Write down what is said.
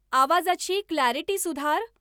आवाजाची क्ल्यारिटी सुधार